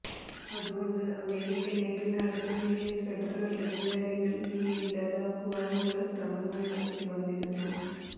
അതുകൊണ്ട് അമേരിക്കൻ ഐക്യനാടുകളിലെ ഫെഡറൽ അധികാരികൾ ഇവയെ ഇല്ലാതാക്കുവാനുള്ള ശ്രമങ്ങൾ നടത്തി വന്നിരുന്നു